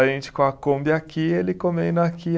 A gente com a Kombi aqui, ele comendo aqui.